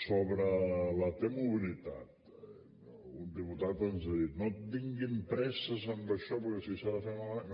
sobre la t mobilitat un diputat ens ha dit no tinguin presses en això perquè si s’ha de fer malament